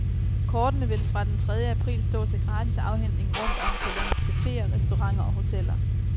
Kortene vil fra den tredje april stå til gratis afhentning rundt om på landets caféer, restauranter og hoteller.